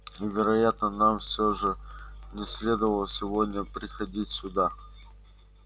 и вероятно нам все же не следовало сегодня приходить сюда